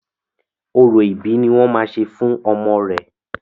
Orò ìbí ni wọ́n máa ṣe fún ọmọ re.